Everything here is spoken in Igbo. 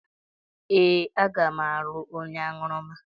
Ee, aga m alụ onye aṅụrụma.